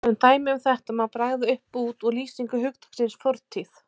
Sem dæmi um þetta má bregða upp bút úr lýsingu hugtaksins fortíð